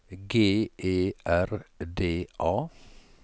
G E R D A